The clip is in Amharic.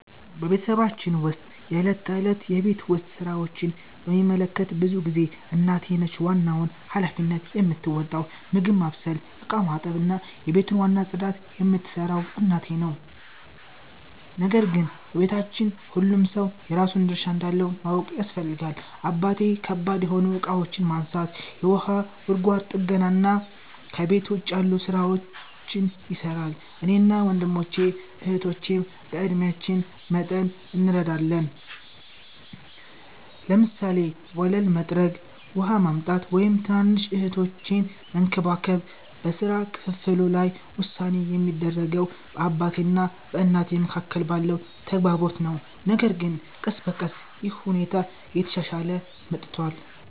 በቤተሰባችን ውስጥ የዕለት ተዕለት የቤት ውስጥ ሥራዎችን በሚመለከት ብዙ ጊዜ እናቴ ነች ዋናውን ሃላፊነት የምትወጣው። ምግብ ማብሰል፣ ዕቃ ማጠብ፣ እና የቤቱን ዋና ጽዳት የምትሠራው እናቴ ነው። ነገር ግን በቤታችን ሁሉም ሰው የራሱን ድርሻ እንዳለው ማወቅ ያስፈልጋል። አባቴ ከባድ የሆኑ እቃዎችን ማንሳት፣ የውሃ ጉድጓድ ጥገና እና ከቤት ውጭ ያሉ ሥራዎችን ይሠራል። እኔና ወንድሞቼ እህቶቼም በዕድሜአችን መጠን እንረዳለን፤ ለምሳሌ ወለል መጥረግ፣ ውሃ ማምጣት፣ ወይም ትናንሽ እህቶቼን መንከባከብ። በሥራ ክፍፍሉ ላይ ውሳኔ የሚደረገው በአባቴ እና በእናቴ መካከል ባለው ተግባቦት ነው፣ ነገር ግን ቀስ በቀስ ይህ ሁኔታ እየተሻሻለ መጥቷል።